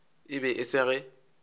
e be e se ge